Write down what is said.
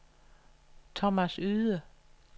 Thomas Yde